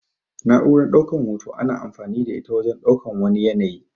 Na'uran ɗaukan hoto ana amfani da ita wajen ɗaukan wani yanayi.